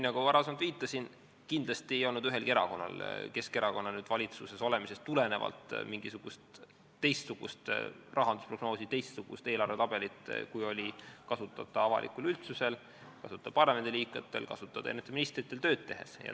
Nagu ma varem viitasin, kindlasti ei olnud ühelgi erakonnal ega ka Keskerakonnal valitsuses olemisest tulenevalt mingisugust teistsugust rahandusprognoosi, teistsugust eelarvetabelit, kui oli kasutada üldsusel, parlamendiliikmetel, ministritel tööd tehes.